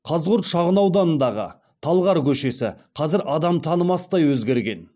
қазығұрт шағын ауданындағы талғар көшесі қазір адам танымастай өзгерген